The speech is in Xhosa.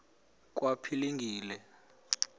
kwaphilingile